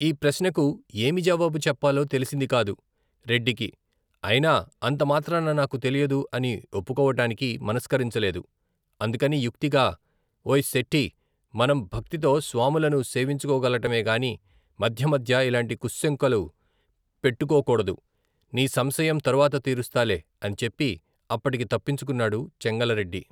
ఈ ప్రశ్నకు ఏమి జవాబు చెప్పాలో తెలిసిందికాదు, రెడ్డికి ఐనా అంతమాత్రాన నాకు తెలియదు అని ఒప్పుకోవటానికా మనస్కరించలేదు అందుకని యుక్తిగా ఓయి శెట్టీ మనం భక్తితో, స్వాములను సేవించుకోవటమేగాని మధ్య మధ్య ఇలాంటి కుశ్శంకలు పెట్టుకోకూడదు నీ సంశయం తరువాత తీరుస్తాలే అని చెప్పి అప్పటికి తప్పించుకున్నాడు చెంగలరెడ్డి.